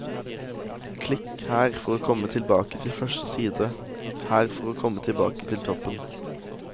Klikk her for å komme tilbake til første side, her for å komme tilbake til toppen.